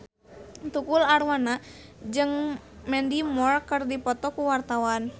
Tukul Arwana jeung Mandy Moore keur dipoto ku wartawan